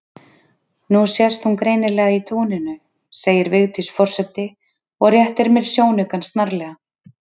Nú sést hún greinilega í túninu segir Vigdís forseti og réttir mér sjónaukann snarlega.